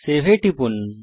save এ টিপুন